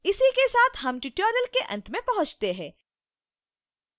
इसी के साथ हम tutorial के अंत में पहुँचते हैं